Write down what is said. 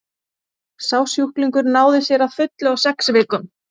sá sjúklingur náði sér að fullu á sex vikum